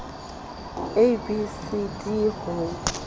a b c d ho